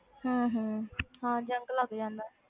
ਹਮ ਹਮ ਹਾਂ zinc ਲੱਗ ਜਾਂਦਾ ਹੈ।